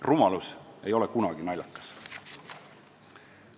Rumalus ei ole kunagi naljakas.